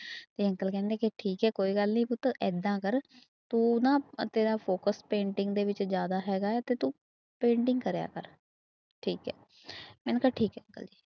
ਤੇ ਅੰਕਲ ਕਹਿੰਦੇ ਕਿ ਠੀਕ ਹੈ ਕੋਈ ਗੱਲ ਨੀ ਪੁੱਤ ਏਦਾਂ ਕਰ ਤੂੰ ਨਾ ਤੇਰਾ focus painting ਦੇ ਵਿੱਚ ਜ਼ਿਆਦਾ ਹੈਗਾ ਹੈ ਤੇ ਤੂੰ painting ਕਰਿਆ ਕਰ, ਠੀਕ ਹੈ ਮੈਨੇ ਕਿਹਾ ਠੀਕ ਹੈ ਅੰਕਲ ਜੀ।